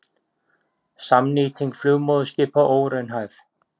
Samnýting flugmóðurskipa óraunhæf